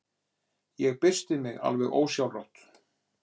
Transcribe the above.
Ég byrsti mig alveg ósjálfrátt.